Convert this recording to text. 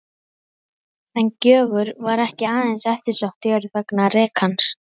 En Gjögur var ekki aðeins eftirsótt jörð vegna rekans.